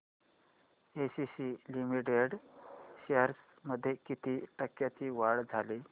ACC limited shares मध्ये किती टक्क्यांची वाढ झाली